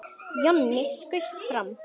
Jonni skaust fram.